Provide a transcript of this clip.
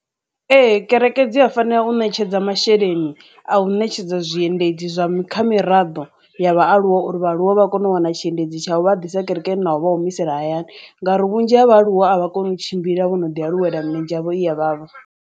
Ee, kerekeni dzi a fanela u ṋetshedza masheleni a u ṋetshedza zwiendedzi zwa kha miraḓo ya vhaaluwa uri vhaaluwa vha kone u wana tshiendedzi tsha uvha a ḓisa kerekeni naho vha humisela hayani, ngauri vhunzhi ha vhaaluwa a vha koni u tshimbila vho no ḓi aluwela minzhi yavho i ya vhavha.